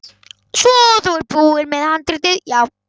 Svo þú ert búinn með handritið, já.